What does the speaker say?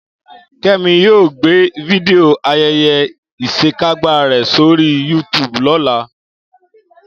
Kẹ́mi yóò gbé fídíò ayẹyẹ ìṣekágbá rẹ̀ sórí YouTube lọ́la